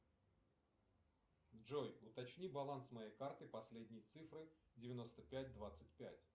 джой уточни баланс моей карты последние цифры девяносто пять двадцать пять